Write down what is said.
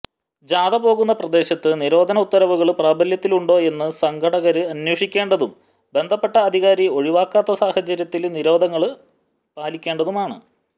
ജാഥ പോകുന്ന പ്രദേശത്ത് നിരോധന ഉത്തരവുകള് പ്രാബല്യത്തിലുണ്ടോ എന്ന് സംഘാടകര് അനേ്വഷിക്കേണ്ടതും ബന്ധപ്പെട്ട അധികാരി ഒഴിവാക്കാത്ത സാഹചര്യത്തില് നിരോധനങ്ങള് പാലിക്കേണ്ടതുമാണ്